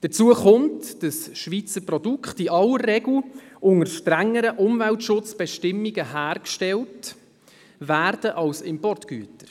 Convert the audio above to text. Hinzu kommt, dass Schweizer Produkte in aller Regel unter strengeren Umweltschutzbestimmungen hergestellt werden als Importgüter.